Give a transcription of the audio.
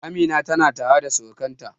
Amina tana tare da surukanta